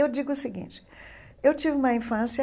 Eu digo o seguinte, eu tive uma infância